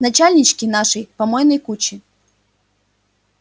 начальнички нашей помойной кучи